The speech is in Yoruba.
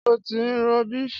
Ṣé ó ti ń rọbí?